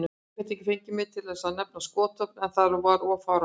Ég gat ekki fengið mig til að nefna skotvopn, það var of fáránlegt.